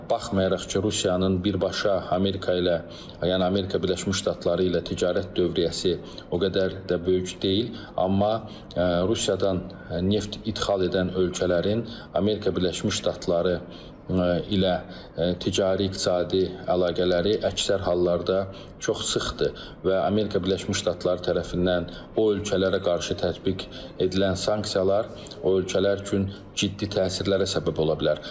Baxmayaraq ki, Rusiyanın birbaşa Amerika ilə yəni Amerika Birləşmiş Ştatları ilə ticarət dövriyyəsi o qədər də böyük deyil, amma Rusiyadan neft idxal edən ölkələrin Amerika Birləşmiş Ştatları ilə ticari, iqtisadi əlaqələri əksər hallarda çox sıxdır və Amerika Birləşmiş Ştatları tərəfindən o ölkələrə qarşı tətbiq edilən sanksiyalar o ölkələr üçün ciddi təsirlərə səbəb ola bilər.